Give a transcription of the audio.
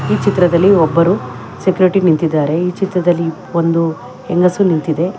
ಈ ಚಿತ್ರದಲ್ಲಿ ಒಬ್ಬರು ಸೆಕ್ಯೂರಿಟಿ ನಿಂತಿದ್ದಾರೆ ಚಿತ್ರದಲ್ಲಿ ಒಂದು ಹೆಂಗಸು ನಿಂತಿದೆ.